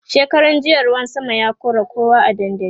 shekaran jiya ruwan sama ya kora kowa a dandali